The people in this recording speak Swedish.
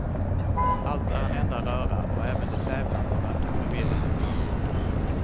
Allt är en enda röra och även de tävlande verkar förvirrade ibland.